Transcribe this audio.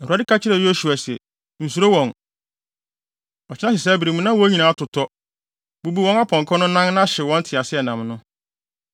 Awurade ka kyerɛɛ Yosua se, “Nsuro wɔn. Ɔkyena sesɛɛ bere mu na wɔn nyinaa atotɔ. Bubu wɔn apɔnkɔ no nan na hyew wɔn nteaseɛnam no.”